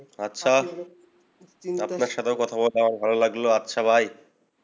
আচ্ছা, আপনার সাথেও কথা বলতেও আমার ভালো লাগলো। আচ্ছা, bye